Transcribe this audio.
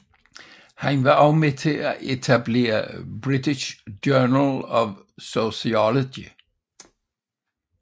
Han var også med at etablere British Journal of Sociology